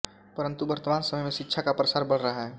परंतु वर्तमान समय में शिक्षा का प्रसार बढ़ रहा है